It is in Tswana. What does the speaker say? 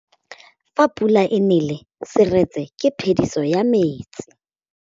Fa pula e nelê serêtsê ke phêdisô ya metsi.